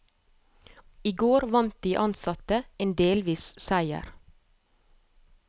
I går vant de ansatte en delvis seier.